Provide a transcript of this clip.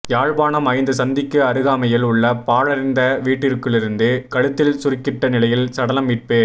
யாழ்ப்பாணம் ஐந்து சந்திக்கு அருகாமையில் உள்ள பாழடைந்த வீட்டிற்குள்ளிருந்து கழுத்தில் சுருக்கிட்ட நிலையில் சடலம் மீட்பு